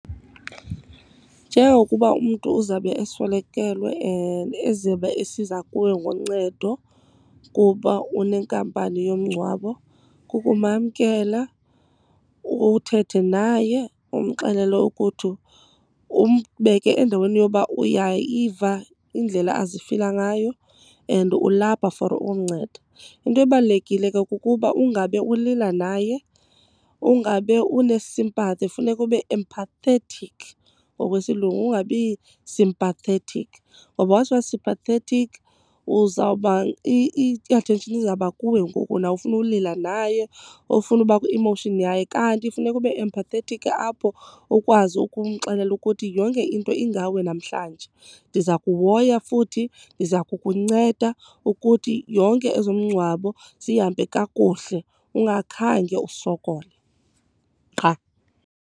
Njengokuba umntu uzawube eswelekelwe and ezobe esiza kuwe ngoncedo kuba unenkampani yomngcwabo, kukumamkela uthethe naye umxelele ukuthi, umbeke endaweni yoba uyayiva indlela azifila ngayo and ulapha for ukumnceda. Into ebalulekile ke kukuba ungabe ulila naye, ungabe une-sympathy. Kufuneka ube empathetic ngokwesilungu, ungabi sympathetic. Ngoba once wa-sympathetic uzawuba, i-attention izawuba kuwe ngoku nawe ufune ulila naye or ufune uba kwi-emotion yakhe. Kanti funeka ube empathetic apho ukwazi ukumxelela ukuthi yonke into ingawe namhlanje, ndiza kuhoya futhi ndiza kukunceda ukuthi yonke ezomngcwabo zihambe kakuhle ungakhange usokole, qha.